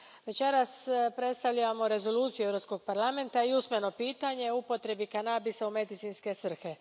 Večeras predstavljamo rezoluciju Europskog parlamenta i usmeno pitanje o upotrebi kanabisa u medicinske svrhe.